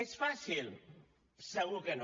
és fàcil segur que no